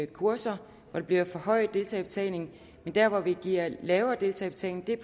kurser hvor der bliver forhøjet deltagerbetaling men der hvor der bliver en lavere deltagerbetaling er